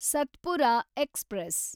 Satpura express